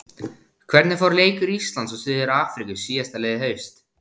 Hvernig fór leikur Íslands og Suður-Afríku síðastliðið haust?